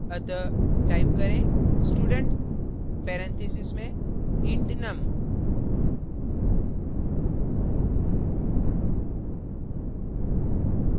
अतः type करें student parentheses में int num